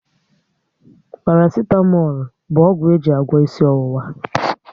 Parasitamol bụ ọgwụ e ji agwọ isi ọwụwa